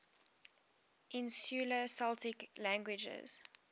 insular celtic languages